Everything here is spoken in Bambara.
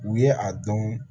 U ye a dɔn